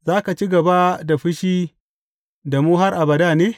Za ka ci gaba da fushi da mu har abada ne?